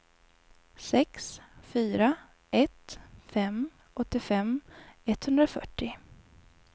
sex fyra ett fem åttiofem etthundrafyrtio